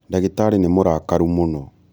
ndagĩtarĩ nĩmũrakaru mũno